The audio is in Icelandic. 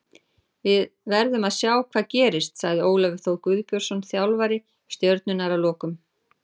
Við verðum að sjá hvað gerist, sagði Ólafur Þór Guðbjörnsson þjálfari Stjörnunnar að lokum.